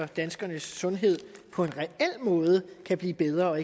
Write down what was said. danskernes sundhed på en reel måde kan blive bedre